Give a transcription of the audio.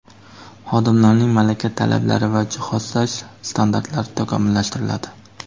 xodimlarning malaka talablari va jihozlash standartlari takomillashtiriladi.